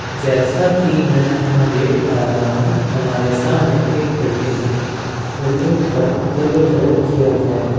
जैसा की मैं यहां देख पा रहा हूं हमारे सामने एक बिल्डिंग है बिल्डिंग पर येलो कलर किया गया है ।